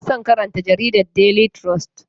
Ina son karanta jaridar Daily trust.